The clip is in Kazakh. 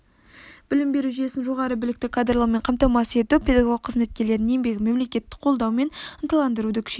білім беру жүйесін жоғары білікті кадрлармен қамтамасыз ету педагог қызметкерлердің еңбегін мемлекеттік қолдау мен ынталандыруды күшейту